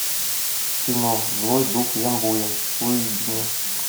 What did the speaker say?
кино злой дух ямбуя выведи мне